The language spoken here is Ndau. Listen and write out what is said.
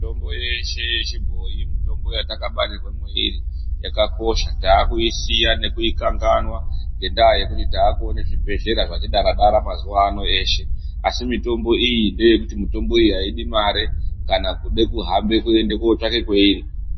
Mitombo yeshe yechibhoyi mitombo yatakabarirwe mweiri, yakakosha. Takuisiya nekuikanganwa ngendaa yekuti takuone zvibhedhlera zvati dara dara mazuvano eshe. Asi mitombo iyi ndeyekuti mitombo iyi haidi mare kana kude kuhambe kuende kotsvake kweiri.